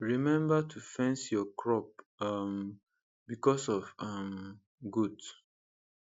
remember to fence your crop um because of um goat